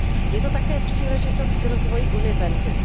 Je to také příležitost k rozvoji univerzit.